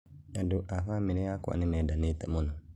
Andũ a bamĩrĩ yakwa nĩmaendanete mũno